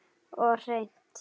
Og hreint.